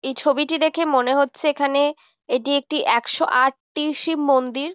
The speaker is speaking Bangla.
এই ছবিটি দেখে মনে হচ্ছে এখানে এটি একটি একশো আট টি শিব মন্দির।